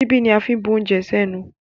Ṣíbí ni a máa ń fi ń bu oúnje sẹ́nu.